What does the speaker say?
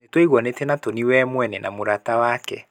Nĩ twaiguanĩtĩ na Tony we mwene na mũramati wake.